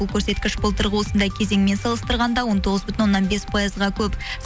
бұл көрсеткіш былтырғы осындай кезеңмен салыстырғанда он тоғыз бүтін оннан бес пайызға көп